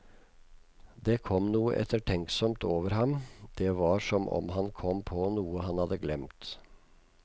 Det kom noe ettertenksomt over ham, det var som om han kom på noe han hadde glemt.